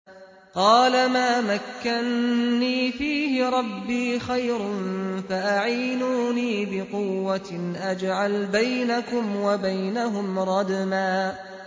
قَالَ مَا مَكَّنِّي فِيهِ رَبِّي خَيْرٌ فَأَعِينُونِي بِقُوَّةٍ أَجْعَلْ بَيْنَكُمْ وَبَيْنَهُمْ رَدْمًا